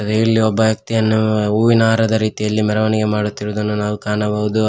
ನೀವ ಇಲ್ಲಿ ಒಬ್ಬ ವ್ಯಕ್ತಿಯನ್ನು ಹೂವಿನ ಹಾರದ ರೀತಿಯಲ್ಲಿ ಮೆರವಣಿಗೆ ಮಾಡುತ್ತಿರುವುದನ್ನು ನಾವು ಕಾಣಬಹುದು.